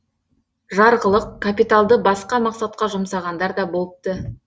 жарғылық капиталды басқа мақсатқа жұмсағандар да болыпты